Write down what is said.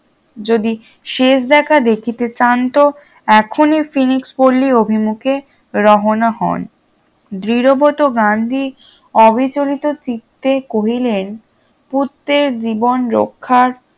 যদি শেষ দেখা দেখিতে চান তো এখনই ফিনিক্সস পল্লি অভিমুখে রহনা হন দৃঢ়বত গান্ধী অবিচলিত চিত্তে কহিলেন পুত্রের জীবন রক্ষার